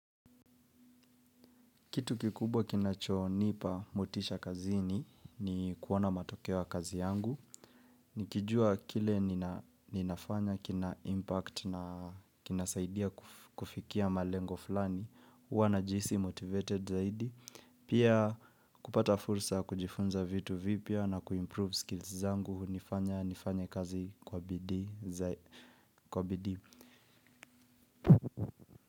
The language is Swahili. Kitu kikubwa kinachonipa motisha kazini ni kuona matokeo ya kazi yangu. Nikijua kile ninafanya, kina impact na kinasaidia kufikia malengo fulani. Huwa najihisi motivated zaidi. Pia kupata fursa ya kujifunza vitu vipya na kuimprove skills zangu. Nifanya nifanye kazi kwa bidii.